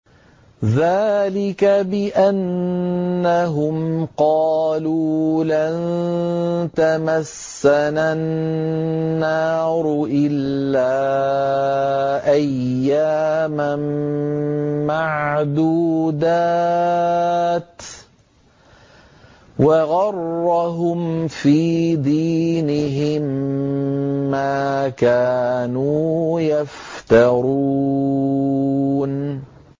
ذَٰلِكَ بِأَنَّهُمْ قَالُوا لَن تَمَسَّنَا النَّارُ إِلَّا أَيَّامًا مَّعْدُودَاتٍ ۖ وَغَرَّهُمْ فِي دِينِهِم مَّا كَانُوا يَفْتَرُونَ